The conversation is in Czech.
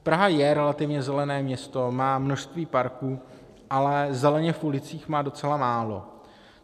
Praha je relativně zelené město, má množství parků, ale zeleně v ulicích má docela málo.